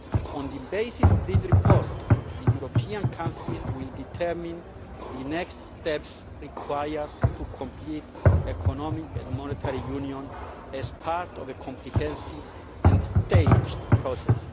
On the basis of this report, the European Council will determine the next steps required to complete Economic and Monetary Union as part of a comprehensive and staged process.